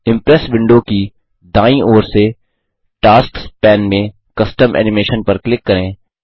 impress window की दायीं ओर से टास्क्स पैन में कस्टम एनिमेशन पर क्लिक करें